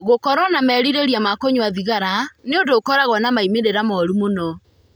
Gũkorũo na merirĩria ma kũnyua thigara nĩ ũndũ ũkoragwo na moimĩrĩro mũũru mũno.